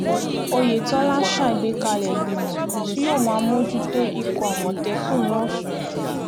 oyetọ́lá ṣàgbékalẹ̀ ìgbìmọ̀ tí yóò máa mójútó ikọ̀ àmọ̀tẹ́kùn lọ́sùn